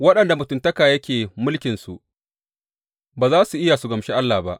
Waɗanda mutuntaka yake mulkinsu ba za su iya su gamshi Allah ba.